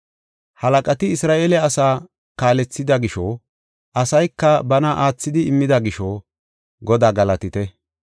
Halaqati Isra7eele asaa kaalethida gisho, asayka bana aathidi immida gisho, Godaa galatite.